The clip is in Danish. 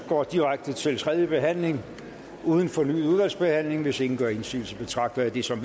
går direkte til tredje behandling uden fornyet udvalgsbehandling hvis ingen gør indsigelse betragter jeg det som